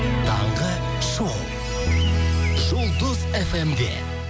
таңғы шоу жұлдыз фм де